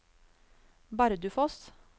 Bardufoss